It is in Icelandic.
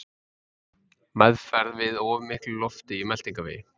Meðferð við of miklu lofti í meltingarvegi